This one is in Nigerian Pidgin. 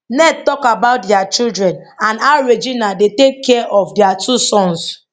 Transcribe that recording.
ned tok about dia children and how regina dey take care of dia two sons